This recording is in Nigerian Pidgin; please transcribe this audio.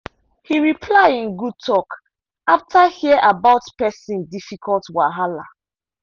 he reply in good talk after hear about person difficult wahala